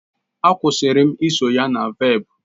Akwusirim iso ya na velp